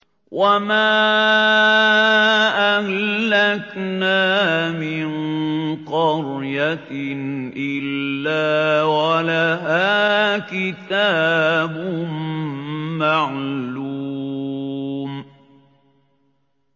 وَمَا أَهْلَكْنَا مِن قَرْيَةٍ إِلَّا وَلَهَا كِتَابٌ مَّعْلُومٌ